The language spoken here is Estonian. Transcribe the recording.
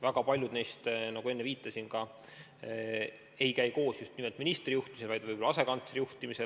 Väga paljud neist, nagu ma enne viitasin, ei käi koos ministri juhtimisel, vaid võib-olla asekantsleri juhtimisel.